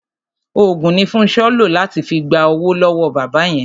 Òògùn ni Fúnṣọ́ lò láti fi gba owó lọ́wọ́ bàbá yẹn.